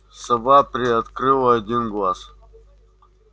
сова приоткрыла один глаз